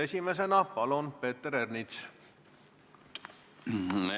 Esimesena palun, Peeter Ernits!